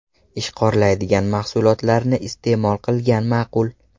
Ishqorlaydigan mahsulotlarni iste’mol qilgan ma’qul.